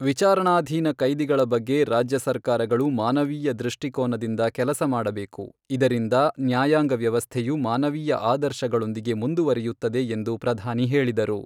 ವಿಚಾರಣಾಧೀನ ಕೈದಿಗಳ ಬಗ್ಗೆ ರಾಜ್ಯ ಸರ್ಕಾರಗಳು ಮಾನವೀಯ ದೃಷ್ಟಿಕೋನದಿಂದ ಕೆಲಸ ಮಾಡಬೇಕು, ಇದರಿಂದ ನ್ಯಾಯಾಂಗ ವ್ಯವಸ್ಥೆಯು ಮಾನವೀಯ ಆದರ್ಶಗಳೊಂದಿಗೆ ಮುಂದುವರಿಯುತ್ತದೆ ಎಂದು ಪ್ರಧಾನಿ ಹೇಳಿದರು.